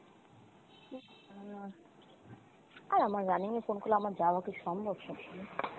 উম আর আমার running এ phone করলে আমার যাওয়া কি সম্ভব সবসময়?